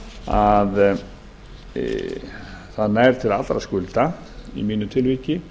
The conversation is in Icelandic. að það nær til allra skulda í mínu tilviki